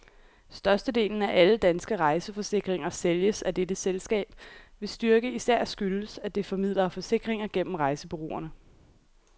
Størstedelen af alle danske rejseforsikringer sælges af dette selskab, hvis styrke især skyldes, at det formidler forsikringer gennem rejsebureauerne.